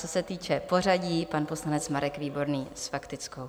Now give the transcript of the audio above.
Co se týče pořadí, pan poslanec Marek Výborný s faktickou.